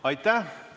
Aitäh!